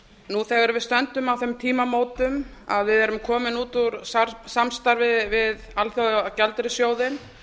nú þegar við stöndum á þeim tímamótum að við erum komin út úr samstarfi við alþjóðagjaldeyrissjóðinn